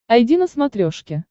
айди на смотрешке